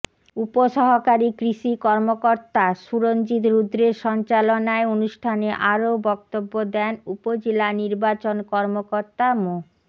উপসহকারী কৃষি কর্মকর্তা সুরঞ্জিত রুদ্রের সঞ্চালনায় অনুষ্ঠানে আরও বক্তব্য দেন উপজেলা নির্বাচন কর্মকর্তা মো